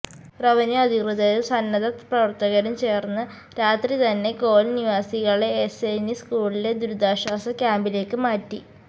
revenue അധികൃതരും സന്നദ്ധ പ്രവര്ത്തകരും ചേര്ന്ന് രാത്രി തന്നെ കോളനി നിവാസികളെ എസ്എന്വി സ്കൂളിലെ ദുരിതാശ്വാസ ക്യാമ്പിലേക്ക് മാറ്റി